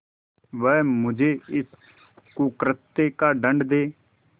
वह मुझे इस कुकृत्य का दंड दे